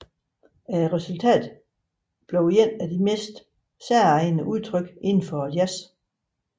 Resultatet blev et af de mest særegne udtryk inden for jazzen